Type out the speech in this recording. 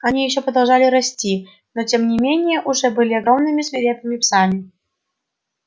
они ещё продолжали расти но тем не менее уже были огромными свирепыми псами